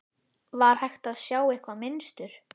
Var hægt að sjá eitthvað mynstur?